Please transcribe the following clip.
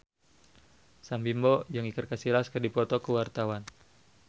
Sam Bimbo jeung Iker Casillas keur dipoto ku wartawan